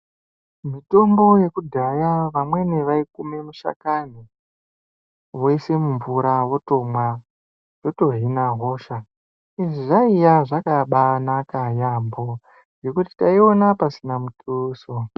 Mitombo yeku dhaya vamweni vai kume mishakano woise mu mvura votomwa voto hina hosha izvi zvaiya zvakabai naka yambo nekuti taiona pasina mutuso.